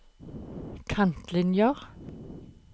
kantlinjer